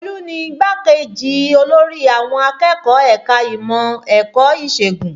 Olú ni igbá-kejì olórí àwọn akẹ́kọ̀ọ́ ẹ̀ka ìmọ̀ ẹ̀kọ́ ìṣègùn